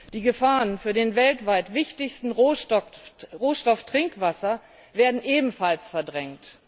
Die Gefahren für den weltweit wichtigsten Rohstoff Trinkwasser werden ebenfalls verdrängt.